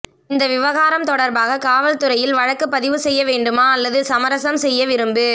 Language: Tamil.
இந்த விவகாரம் தொடர்பாக காவல் துறையில் வழக்கு பதிவு செய்ய வேண்டுமா அல்லது சமரசம் செய்ய விரும்பு